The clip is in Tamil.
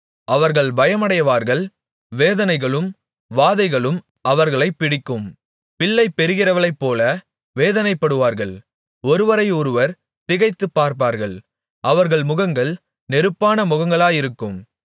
அவர்கள் பயமடைவார்கள் வேதனைகளும் வாதைகளும் அவர்களைப்பிடிக்கும் பிள்ளை பெறுகிறவளைப்போல வேதனைப்படுவார்கள் ஒருவரையொருவர் திகைத்துப்பார்ப்பார்கள் அவர்கள் முகங்கள் நெருப்பான முகங்களாயிருக்கும்